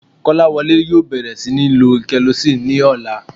Kọ́láwọlé yóò bẹ̀rẹ̀ sí níí lo gelocin ní ọ̀la